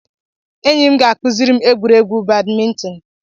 Enyi m ga-akụziri m egwuregwu badminton.